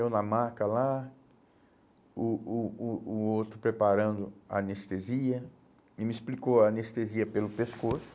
Eu na maca lá, o o o o outro preparando a anestesia e me explicou a anestesia pelo pescoço.